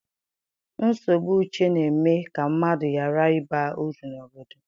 Nsogbu uche na-eme ka mmadụ ghara ịba uru n'obodo.